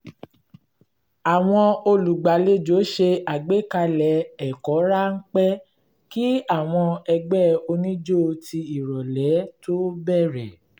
àwọn olùgbàlejò ṣe àgbékalè ẹ̀kọ́ ráńpẹ́ kí àwọn ẹgbẹ́ oníjó ti ìrọ̀lẹ́ tó bẹ̀rẹ̀